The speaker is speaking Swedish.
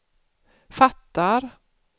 fattar